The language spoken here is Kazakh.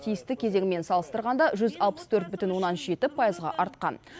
тиісті кезеңмен салыстырғанда жүз алпыс төрт бүтін оннан жеті пайызға артқан